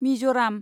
Mizoram